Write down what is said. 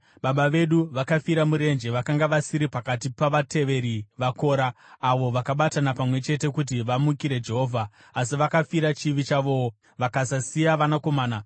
“Baba vedu vakafira murenje. Vakanga vasiri pakati pavateveri vaKora, avo vakabatana pamwe chete kuti vamukire Jehovha, asi vakafira chivi chavowo vakasasiya vanakomana.